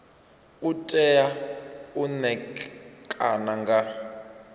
u tea u ṋekana nga